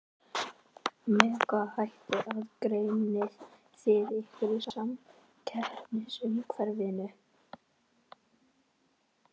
Með hvaða hætti aðgreinið þið ykkur í samkeppnisumhverfinu?